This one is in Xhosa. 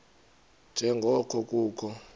nje ngoko kukho